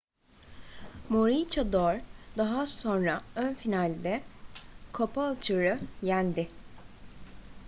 maroochydore daha sonra ön final'de caboolture'u yendi